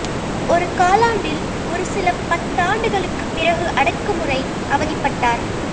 ஒரு காலாண்டில் ஒரு சில பத்தாண்டுகளுக்குப் பிறகு அடக்குமுறை அவதிப்பட்டார்